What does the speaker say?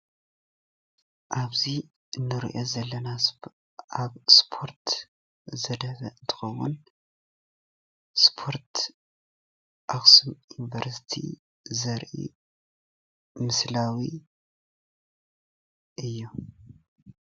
ኣብዚ እንሪኦ ዘለና ኣብ ስፖርት ዘድሀበ እንትኸውን ስፖርት ኣኽሱም ዩኒቨርሲቲ ዘርኢ ምስላዊ እዪ።